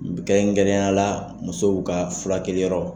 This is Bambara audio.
kɛrɛnkɛrɛnnenyala musow ka fura kɛliyɔrɔ